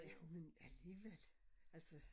Ja men alligevel altså